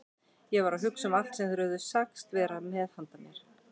Ég var að hugsa um allt sem þeir höfðu sagst vera með handa mér.